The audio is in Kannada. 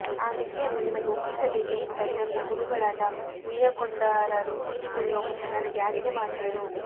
ಆ ನಿಧಿಯನ್ನು ನಿಮಗೆ ಒಪ್ಪಿಸಬೇಕೆಂಬುದಾಗಿ ನನ್ನ ಗುರುಗಳಾದ ಉಯ್ಯಕ್ಕೊಂಡಾರರು ತೀರಿಕೊಳ್ಳುವ ಮುನ್ನ ನನಗೆ ಆಜ್ಞೆ ಮಾಡಿದರು